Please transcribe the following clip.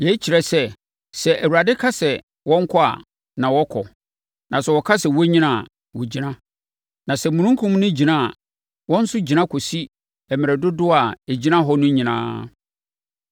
Yei kyerɛ sɛ, sɛ Awurade ka sɛ wɔnkɔ a, wɔkɔ, na sɛ ɔka sɛ wɔnnyina a, wɔgyina. Na sɛ Omununkum no gyina a, wɔn nso gyina kɔsi mmerɛ dodoɔ a ɛgyina hɔ no nyinaa.